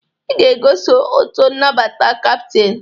Ị ga-egoso ọtọ nabata kaptin!